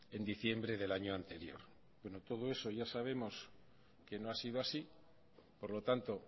en diciembre del año anterior bueno todo eso ya sabemos que no ha sido así por lo tanto